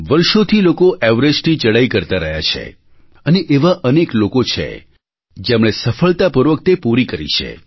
વર્ષોથી લોકો એવરેસ્ટની ચડાઈ કરતા રહ્યા છે અને એવા અનેક લોકો છે જેમણે સફળતાપૂર્વક તે પૂરી કરી છે